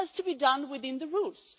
But it has to be done within the rules.